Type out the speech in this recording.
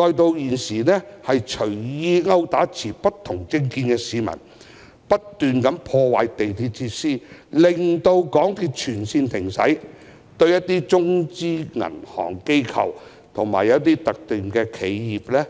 現時，他們更隨意毆打持不同政見的市民；不斷破壞港鐵設施，令港鐵全線停駛；對中資銀行、機構和企業，